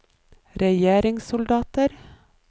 regjeringssoldater